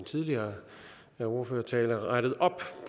tidligere ordførertale rettet op